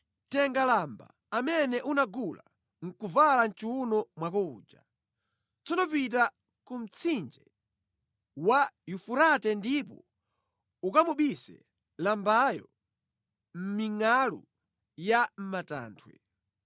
“Tenga lamba amene unagula ndi kuvala mʼchiwuno mwako uja. Tsono pita ku mtsinje wa Yufurate ndipo ukamubise lambayo mʼmingʼalu ya mʼmatanthwe.”